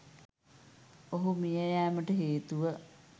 ඔහු මියයෑමට හේතුව